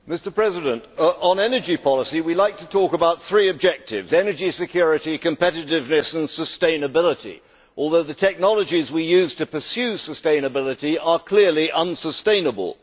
Mr President, on energy policy we like to talk about three objectives energy security, competitiveness and sustainability, although the technologies we use to pursue sustainability are clearly unsustainable.